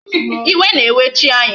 Iwe na-ewe chi anyị.